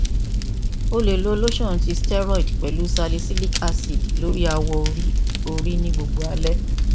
a le lotion ti steroid pẹlu salicylic acid lori awọ ori ori ni gbogbo alẹ